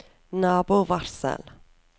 nabovarsel